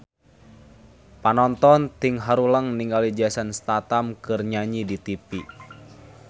Panonton ting haruleng ningali Jason Statham keur nyanyi di tipi